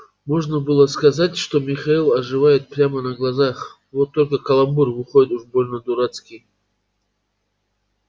можно было сказать что михаил оживает прямо на глазах вот только каламбур выходит уж больно дурацкий